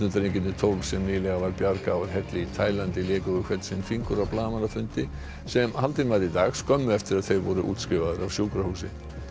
knattspyrnudrengirnir tólf sem nýlega var bjargað úr helli í Taílandi léku við hvern sinn fingur á blaðamannafundi sem haldinn var í dag skömmu eftir að þeir voru útskrifaðir af sjúkrahúsi